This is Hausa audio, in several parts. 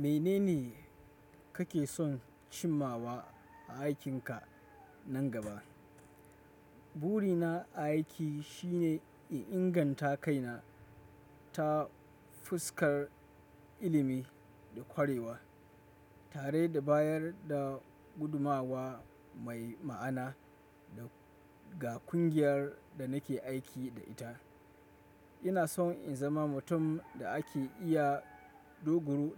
Menene kake son cimmawa a aikinka nan gaba? Burina a aiki shine in inganta kaina ta fuskar ilimi da ƙwarewa, tare da bayar da gudumawa mai ma'ana ga kungiyar da nake aiki da ita. Ina son in zama mutum da ake iya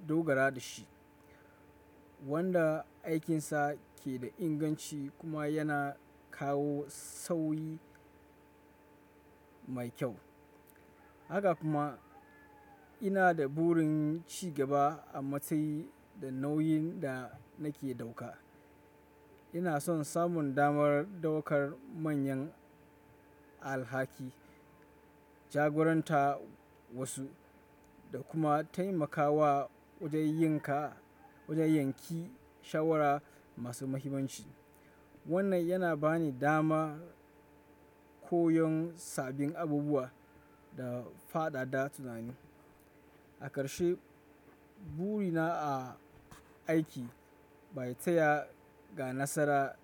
dogara da shi, wanda aikinsa ke da inganci kuma yana kawo sauyi mai kyau. Haka kuma ina da burin ci gaba a matsayi da nauyin da nake ɗauka. Ina son samun damar ɗaukar manyan alhaki, jagoranta wasu, da kuma taimakawa wajen yanke shawara masu muhimmanci. Wannan yana bani dama koyon sabbin abubuwa da fadada tunani. A ƙarshe, burina a aiki ba ya taya ga nasara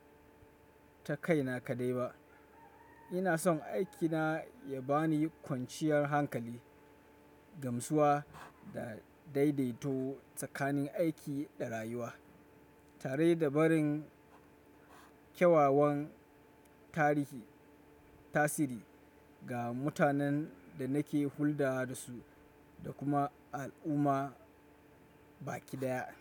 ta kaina kaɗai ba. Ina son aikina ya bani kwanciyar hankali, gamsuwa da daidaito tsakanin aiki da rayuwa, tare da barin kyawawan tasiri ga mutanen da nake hulɗa da su da kuma al'umma baki daya.